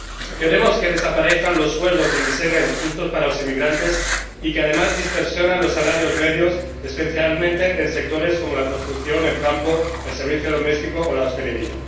Queremos que desaparezcan los sueldos de miseria injustos para los inmigrantes y que, además, distorsionan los salarios medios, especialmente en sectores como la construcción, el campo, el servicio doméstico o la hostelería.